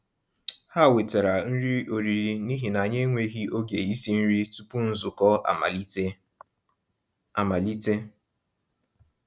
Há wètàrà nrí ọ̀rị́rị́ n'íhi nà ànyị́ ènwéghị́ ògé ísi nrí túpụ̀ nzukọ́ amàlítè. amàlítè.